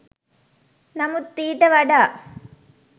නමුත් ඊට වඩා